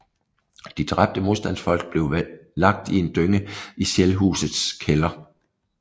De dræbte modstandsfolk blev lagt i en dynge i Shellhusets kælder